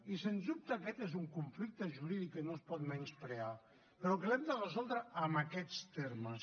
i sens dubte aquest és un conflicte jurídic que no es pot menysprear però que l’hem de resoldre amb aquests termes